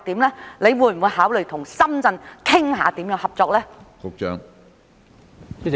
局長會否考慮與深圳商討如何合作？